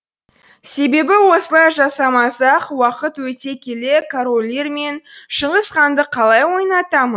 себебі осылай жасамасақ уақыт өте келе король лир мен шыңғыс ханды қалай ойнатамын